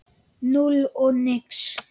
Núll og nix.